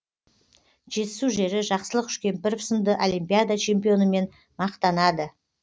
жетісу жері жақсылық үшкемпіров сынды олимпиада чемпионымен мақтанады